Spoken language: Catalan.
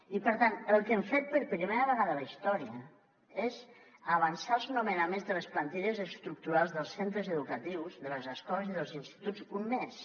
i per tant el que hem fet per primera vegada a la història és avançar els nomenaments de les plantilles estructurals dels centres educatius de les escoles i dels instituts un mes